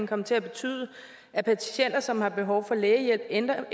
komme til at betyde at patienter som har behov for lægehjælp ender